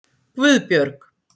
Guðbjörg